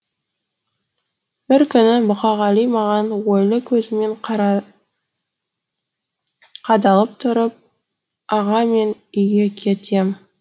бір күні мұқағали маған ойлы көзімен қадалып тұрып аға мен үйге кетем